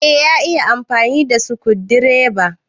Eh, ya iya amfani da sukundireba.